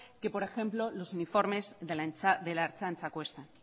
que por ejemplo los uniformes de la ertzaintza cuesta